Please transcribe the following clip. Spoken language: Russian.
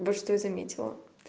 вот что я заметила